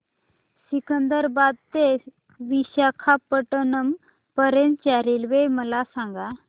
सिकंदराबाद ते विशाखापट्टणम पर्यंत च्या रेल्वे मला सांगा